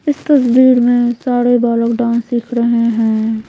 इस तस्वीर में सारे बालक डांस सीख रहे हैं।